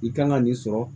I kan ka nin sɔrɔ